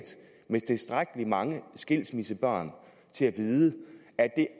med tilstrækkelig mange skilsmissebørn til at vide at det